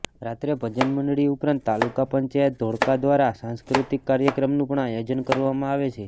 રાત્રે ભજન મંડળી ઉપરાંત તાલુકા પંચાયત ધોળકા દ્વારા સાંસ્કૃતિક કાર્યક્રમનું પણ આયોજન કરવામાં આવે છે